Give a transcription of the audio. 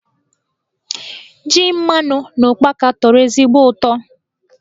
Ji mmanụ na ụkpaka tọrọ ezigbo utọ.